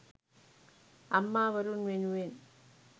අම්මා වරුන් වෙනුවෙන්